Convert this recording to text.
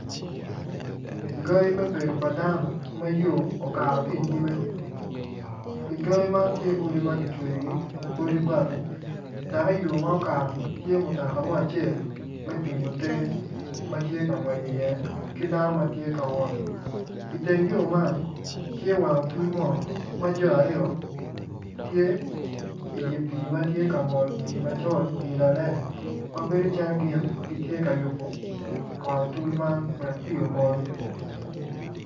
Gangi me bedo pa dano ma yo okato ki inyime igangi man tye odi ma kicweyogi odi bati dok iyo ma okatoni tye mutoka mo acel me tingo te ma tye ka ngwec iye ki dano ma tye ka wot iteng yo man tye wango otul mo ma jo aryo tye idye pii ma tye ka mol pii macol pii kalele ma bedo calo gin gitye ka yubo wang otul man wek pii omol.